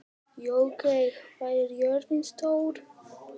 Laugey, hvað er jörðin stór?